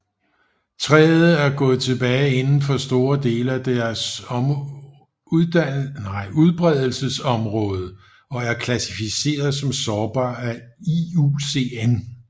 Træet er gået tilbage inden for store dele af deres udbredelsesområde og er klassificeret som sårbar af IUCN